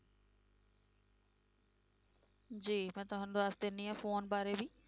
ਜੀ ਮੈਂ ਤੁਹਾਨੂੰ ਦੱਸ ਦਿੰਦੀ ਹਾਂ phone ਬਾਰੇ ਵੀ।